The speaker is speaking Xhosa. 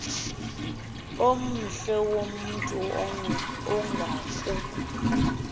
omhle womntu ongaku